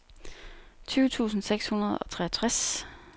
tyve tusind seks hundrede og treogtres